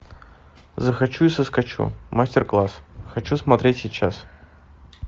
захочу и соскочу мастер класс хочу смотреть сейчас